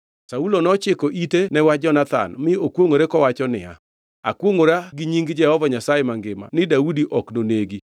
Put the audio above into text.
Saulo nochiko ite ne wach Jonathan mi okwongʼore kowacho niya, “Akwongʼora gi nying Jehova Nyasaye mangima ni Daudi ok nonegi.”